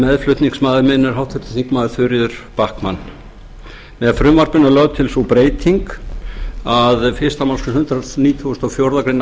meðflutningsmaður minn er háttvirtir þingmenn þuríður backman með frumvarpinu er lögð til sú breyting að fyrstu málsgrein hundrað nítugasta og fjórðu grein